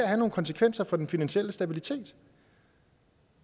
have nogle konsekvenser for den finansielle stabilitet